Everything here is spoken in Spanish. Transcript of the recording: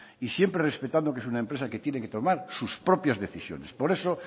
y siempre respetando que es una empresa que tiene que tomar sus propias decisiones por eso